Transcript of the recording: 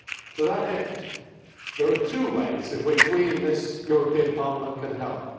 To that end there are two ways in which we in the European Parliament can help.